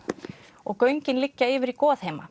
og göngin liggja yfir í